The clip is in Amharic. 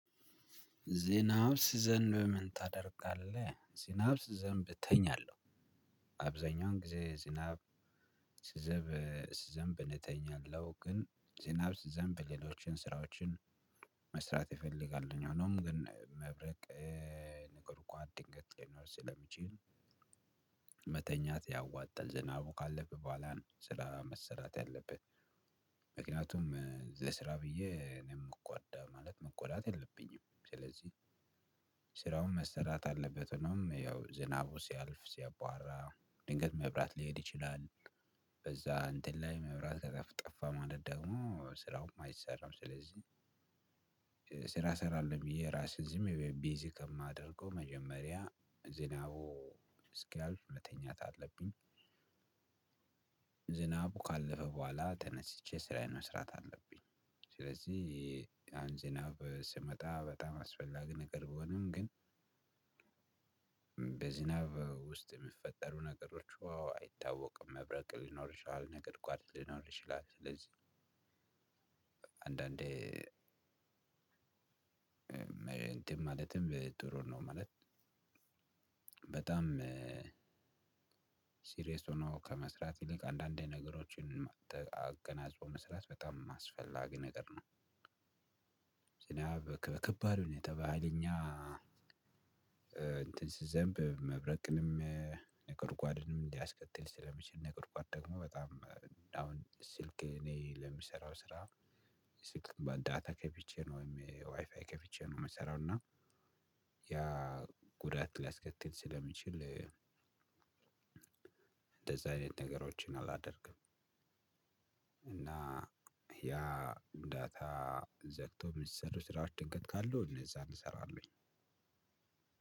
ዝናብ ሲዘንብ ምን ታደርጋለህ? ዝናብ ሲዘንብ እተኛለህ። አብዛኛውን ጊዜ ዝናብ ሲዘንብ ሲዘንብ እተኛለሁ ግን ዝናብ ሲዘንብ ሌሎችን ስራዎችን መስራት እፈልጋለሁ። ሆኖም ግን መብረቅ ነጎድጓድ ድንገት ሊኖር ስለሚችል። መተኛት ያዋጣል ዝናቡ ካለፈ በኋላ ነው ስራ መሰራት ያለበት። ምክንያቱም ለስራ ብዬ እኔም የምጎዳ ማለት መጎዳት የለብኝም። ስራውን መሰራት አለበት። ሆኖም ያው ዝናቡ ሲያልፍ ሲያባራ ድንገት መብራት ሊሄድ ይችላል። በዛ እንትን ላይ መብራት ከጠ ጠፋ ማለት ደግሞ ስራውም አይሰራም ስለዚህ። ስራ እሰራለሁ ብዬ ራሴን ዝም ብዬ ቢዚ ከማደርገው መጀመሪያ ዝናቡ እስኪያልፍ መተኛት አለብኝ። ዝናቡ ካለፈ በኋላ ተነስቼ ስራዬን መስራት አለብኝ። ስለዚህ ዝናብ ሲመጣ በጣም አስፈላጊ ነገር ቢሆንም ግን በዝናብ ውስጥ የሚፈጠሩ ነገሮች ውሃው አይታወቅም መብረቅ ሊኖር ይችላል ነጎድጓድ ሊኖር ይችላል ስለዚህ። አንዳንዴ እንትን ማለትም ጥሩ ነው ማለት። በጣም ሲሪየስ ሆኖ ከመስራት ይልቅ አንዳንዴ ነገሮችን አገናዝቦ መስራት በጣም አስፈላጊ ነገር ነው። ዝናብ በከባድ ሁኔታ በሃይለኛ እንትን ሲዘንብ መብረቅንም ነጓድጓድንም ሊያስከትል ስለሚችል ነጓድጓድ ደግሞ በጣም ሰልክ እኔ ለምሰራው ስራ ስልክ ዳታ ከፍቼ ነው ዋይፋይ ከፍቼ ነው የምሰራው እና ያ ጉዳት ሊያስከትል ስለሚችል። እንደዛ አይነት ነገሮችን አላደርግም። ያ ዳታ ዘግቶ የሚሰሩ ስራዎች ድንገት ካሉ እነዛን እሰራለሁኝ።